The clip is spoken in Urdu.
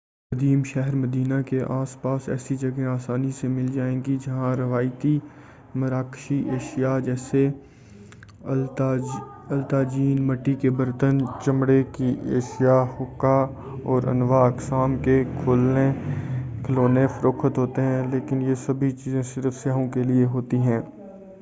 قدیم شہر مدینہ کے آس پاس ایسی جگہیں آسانی سے مل جائیں گی جہاں روایتی مراقشی اشیاء جیسے الطاجین مٹی کے برتن چمڑے کی اشیاء حقہ اور انواع اقسام کے کھلونے فروخت ہوتے ہیں لیکن یہ سبھی چیزیں صرف سیاحوں کیلئے ہوتی ہیں